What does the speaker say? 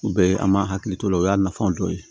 U bɛ an m'a hakili to o la o y'a nafaw dɔ ye